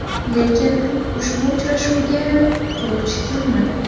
Lekin ushbu uchrashuvga quruvchi kelmadi.